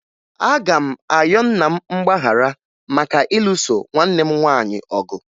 Aga m ayọ nna m mgbaghara maka ịlụso nwanne m nwaanyị ọgụ